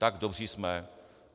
Tak dobří jsme.